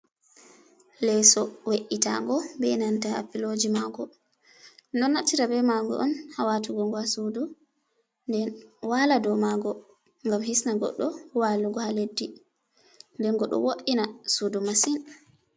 Leso we’itango be nanta piloji ma ngo. Ɗo naftira be ma ngo on ha watugo ha sudu. Nden wa'la dau ma ngo gam hisna goɗɗo walugo ha leddi. Den ngo ɗo wo’ina sudu masin.